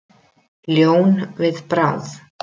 Ljón við bráð.